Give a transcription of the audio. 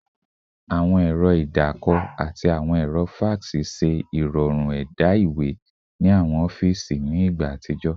Awọn ẹrọ idaako ati awọn ẹrọ fax ṣe irọrun ẹda iwe ni awọn ọfiisi ni igba atijọ